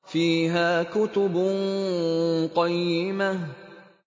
فِيهَا كُتُبٌ قَيِّمَةٌ